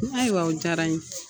N ayiwa o diyara n ye.